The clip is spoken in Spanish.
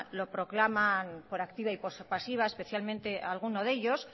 lo proclaman por activa y por pasiva especialmente alguno de ellos